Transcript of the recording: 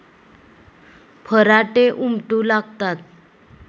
फराटे उमटू लागतात.